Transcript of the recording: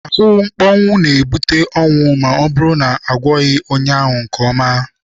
Ahụmkpọnwụ na-ebute ọnwụ ma ọ bụrụ na agwọghị onye ya nke ọma.